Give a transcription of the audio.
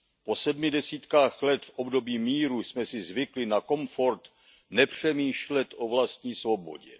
Po sedmi desítkách let v období míru jsme si zvykli na komfort nepřemýšlet o vlastní svobodě.